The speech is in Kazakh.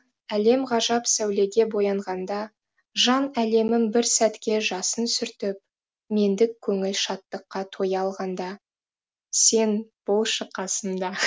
әлем ғажап сәулеге боянғанда жан әлемім бір сәтке жасын сүртіп мендік көңіл шаттыққа тоя алғанда сен болшы қасымда